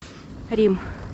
рим